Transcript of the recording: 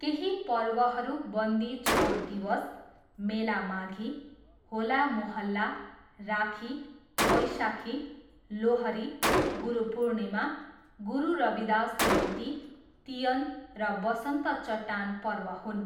केही पर्वहरू बन्दी छोर दिवस, मेला माघी, होला मोहल्ला, राखी, वैशाखी, लोहरी, गुरुपुर्णिमा, गुरु रविदास जयन्ती, तियन र बसन्त चट्टान पर्व हुन्।